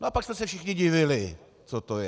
No a pak jsme se všichni divili, co to je.